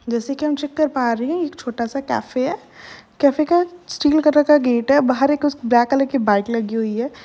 जैसे कि हम चेक कर पा रहे हैं एक छोटा सा कैफ़े है। कैफ़े का स्टील कलर का गेट है। बाहर एक उस ब्लैक कलर की बाइक लगी हुई है।